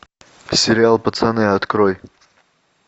сериал пацаны открой